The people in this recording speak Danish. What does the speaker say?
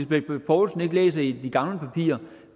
bech poulsen ikke læser i de gamle papirer